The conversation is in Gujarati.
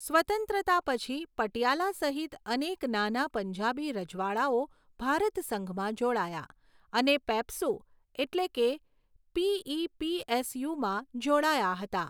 સ્વતંત્રતા પછી, પટિયાલા સહિત અનેક નાના પંજાબી રજવાડાઓ ભારત સંઘમાં જોડાયા અને પેપ્સુ એટલે કે પીઈપીએસયુમાં જોડાયા હતા.